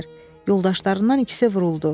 Yoldaşlarından ikisi vuruldu.